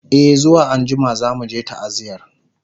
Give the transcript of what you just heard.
e zuwa anjima zamuje ta'aziyar